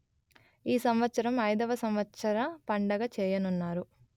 ఈ సంవత్సరం ఐదవ సంవత్సర పండగ చేయనున్నారు